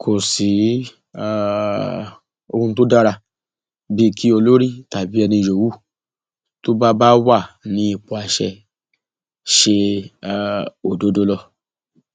kò sí um ohun tó dára bíi kí olórí tàbí ẹni yòówù tó bá bá wà ní ipò àṣẹ ṣe um òdodo lọ